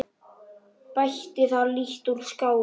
Bætti það lítt úr skák.